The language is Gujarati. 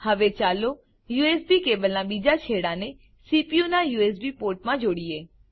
હવે ચાલો યુએસબી કેબલનાં બીજા છેડાને સીપીયુ નાં યુએસબી પોર્ટ માં જોડીએ